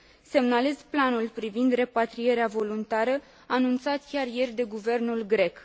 Semnalez planul privind repatrierea voluntară anunțat chiar ieri de guvernul grec.